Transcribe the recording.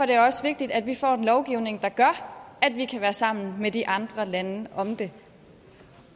det også vigtigt at vi får en lovgivning der gør at vi kan være sammen med de andre lande om det